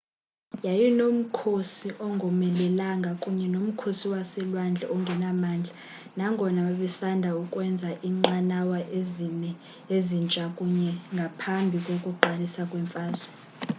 yayinomkhosi ongomelelanga kunye nomkhosi waselwandle ongenamandla nangona babesanda ukwenza iinqanawa ezine ezintsha kanye ngaphambi kokuqalisa kwemfazwe